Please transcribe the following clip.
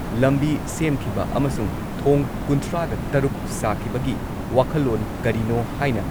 ꯂꯝꯕꯤ ꯁꯦꯝꯈꯤꯕ ꯑꯃꯁꯨꯡ ꯊꯣꯡ ꯀꯨꯟꯊ꯭ꯔꯥꯒ ꯇꯔꯨꯛ ꯁꯥꯈꯤꯕꯒꯤ ꯋꯥꯈꯜꯂꯣꯟ ꯀꯔꯤꯅꯣ ꯍꯥꯏꯅ